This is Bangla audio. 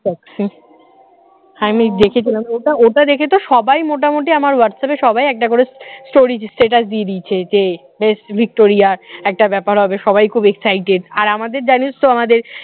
আমি দেখেছিলাম ওটা ওটা দেখে তো সবাই মোটামুটি আমার whats app এ সবাই একটা করে story দিচ্ছে status দিয়ে দিয়েছে যে ভিক্টোরিয়ার একটা ব্যাপার হবে সবাই খুব excited আর আমাদের জানিস তো আমাদের